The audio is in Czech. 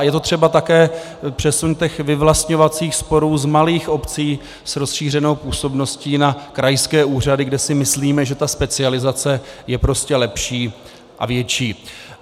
A je to třeba také přesun těch vyvlastňovacích sporů z malých obcí s rozšířenou působností na krajské úřady, kde si myslíme, že ta specializace je prostě lepší a větší.